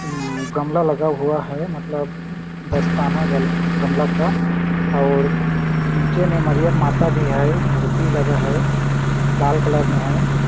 अम्म यहाँ गमला लगा हुआ है मतलब दस्ताना गम गमला का और और नीचे में मरियम माता भी है मूर्ति लगा है लाल कलर में हैं ।